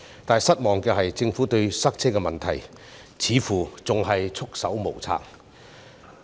但令人失望的是，政府對塞車的問題似乎仍然束手無策。